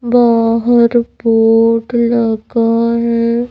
बाहर बोर्ड लगा है।